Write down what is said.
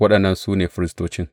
Waɗannan su ne Firistocin.